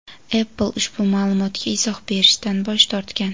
Apple ushbu ma’lumotga izoh berishdan bosh tortgan.